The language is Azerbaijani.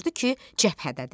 Gördü ki, cəbhədədir.